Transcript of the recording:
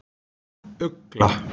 Ugla